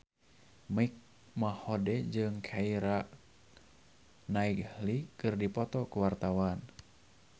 Mike Mohede jeung Keira Knightley keur dipoto ku wartawan